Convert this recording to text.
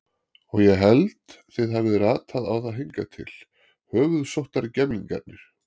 Og ég held þið hafið ratað á það hingað til, höfuðsóttargemlingarnir.